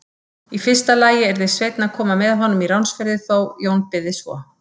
Í fyrsta lagi yrði Sveinn að koma með honum í ránsferðir þá Jón byði svo.